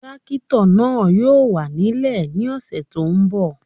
Tírákítọ̀ náà yóò wà nílẹ̀ ní ọ̀sẹ̀ tí ó ń bọ̀